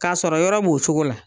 K'a sɔrɔ yɔrɔ b'o sogo la